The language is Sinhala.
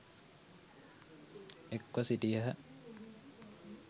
එක්ව සිටියහ.